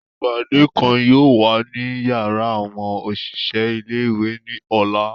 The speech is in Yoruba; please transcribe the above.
Ipade kan yoo wa ni yara awọn oṣiṣẹ ile-iwe ni ọla.